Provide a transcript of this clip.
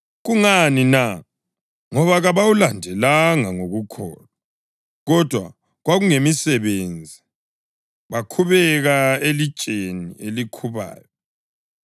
Kungani na? Ngoba kabawulandelanga ngokukholwa, kodwa kwakungemisebenzi. Bakhubeka elitsheni elikhubayo.